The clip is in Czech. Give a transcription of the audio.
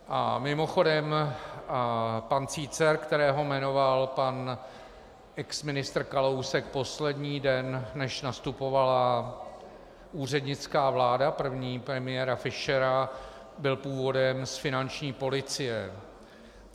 A mimochodem, pan Cícer, kterého jmenoval pan exministr Kalousek poslední den, než nastupovala úřednická vláda, první, premiéra Fischera, byl původem z finanční policie.